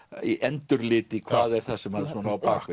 í hvað er það sem er á bak